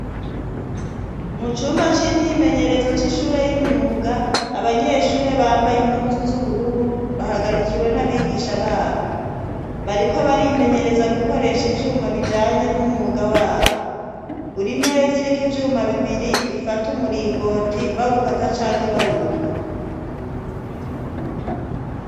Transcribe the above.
Mu cumba c'imyimenyerezo c'ishure y'imyuga abanyeshuri bambaye impuzu z'ubururu bahagarikiwe n'abigisha babo bariko barimenyereza gukoresha ivyuma bijanye n'umwuga wabo buri meza iriko ivyuma bibiri bifata umuringoti bawukata canke bawunga.